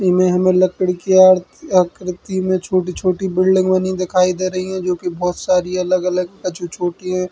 ईमे हमें लकड़ी की आरती आकृति में छोटी-छोटी बिल्डिंग बनी दिखाई दे रही है जो कि बोहोत सारी अलग-अलग कछु छोटी हैं --